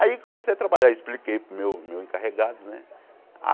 Aí comecei a trabalhar, expliquei para o meu meu encarregado, né?